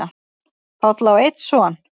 Páll á einn son.